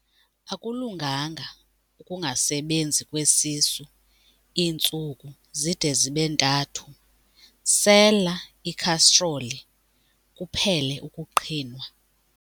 Akulunganga ukungasebenzi kwesisu iintsuku zide zibe ntathu, sela ikhastroli kuphele ukuqhinwa.